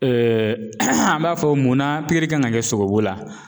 an b'a fɔ munna kan ka kɛ sogobu la.